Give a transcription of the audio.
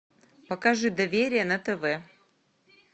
покажи доверие на тв